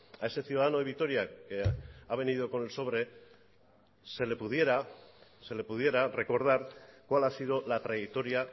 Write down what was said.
a ese ciudadano de vitoria que ha venido con sobre se le pudiera recordar cuál ha sido la trayectoria